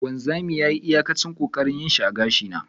wanzami yayi iyakacin kokarinshi a gashi na.